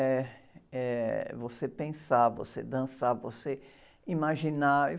Eh, é você pensar, você dançar, você imaginar.